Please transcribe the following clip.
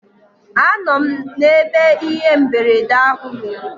Anọ m n'ebe ihe mberede ahụ mere.